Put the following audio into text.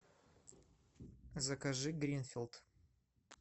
закажи гринфилд